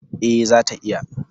E, zata iya.